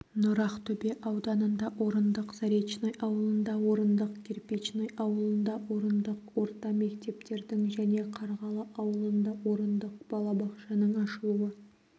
нұр ақтөбе ауданында орындық заречный ауылында орындық кирпичный ауылында орындық орта мектептердің және қарғалы ауылында орындық балабақшаның ашылуы